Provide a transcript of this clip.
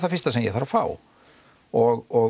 fyrsta sem ég þarf að fá og